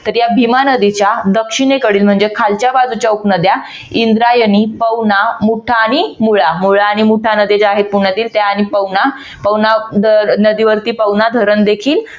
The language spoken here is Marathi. तर या भीमा नदीच्या दक्षिणेकडील म्हणजे खालच्या बाजूच्या उपनद्या इंद्रायणी, पवना, मुठा आणि मुळा मुळा आणि मुठा नद्या ज्या आहेत पुण्यातील त्या आणि पवना पवना नदीवरती पवना धरण देखील